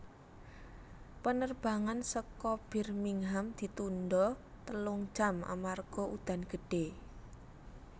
Penerbangan seko Birmingham ditunda telung jam amarga udan gede